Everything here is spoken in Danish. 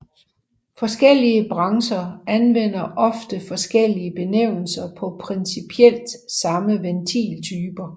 Forskellige brancher anvender ofte forskellige benævnelser på principielt samme ventiltyper